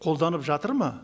қолданып жатыр ма